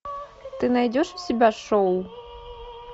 ты найдешь у себя шоу